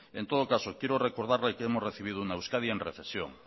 en todo caso quiero recordarle que hemos recibido una euskadi en recesión